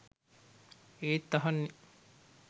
ඒත් අහන්නේ